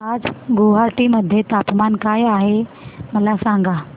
आज गुवाहाटी मध्ये तापमान काय आहे मला सांगा